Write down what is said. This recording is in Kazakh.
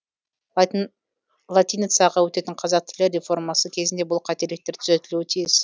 латиницаға өтетін қазақ тілі реформасы кезінде бұл қателіктер түзетілуі тиіс